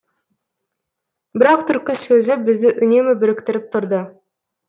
бірақ түркі сөзі бізді үнемі біріктіріп тұрды